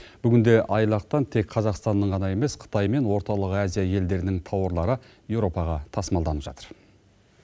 бүгінде айлақтан тек қазақстанның ғана емес қытай мен орталық азия елдерінің тауарлары еуропаға тасымалданып жатыр